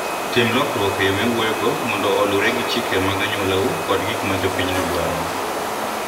Tim lokruok e yo miwuoyogo mondo oluwre gi chike mag anyuolau kod gik ma jopinyno dwaro.